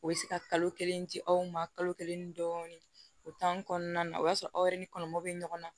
U bɛ se ka kalo kelen di aw ma kalo kelen dɔɔnin o tan ni kɔɔna na o y'a sɔrɔ aw yɛrɛ ni kɔlɔlɔ be ɲɔgɔn na